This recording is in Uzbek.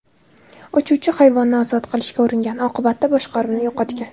Uchuvchi hayvonni ozod qilishga uringan, oqibatda boshqaruvni yo‘qotgan.